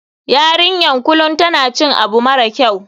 YArinyanbkulum tan cikin abu mara kyau.